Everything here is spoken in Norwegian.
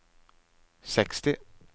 seksti